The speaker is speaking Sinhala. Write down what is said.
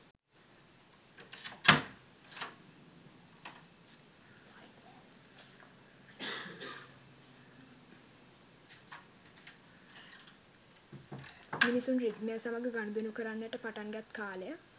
මිනිසුන් රිද්මය සමග ගනුදෙනු කරන්නට පටන් ගත් කාලය